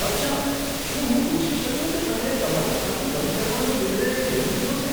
અચ્છા. શું હું પૂછી શકું કે તમે તમારું ખાતું બંધ કરવાનો નિર્ણય કેમ લીધો છે?